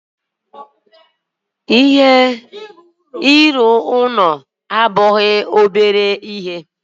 Ịrụ ụlọ abụghị obere ihe